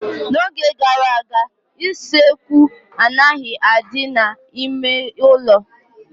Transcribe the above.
N'oge gara aga, isekwu anaghị adị n'ime ụlọ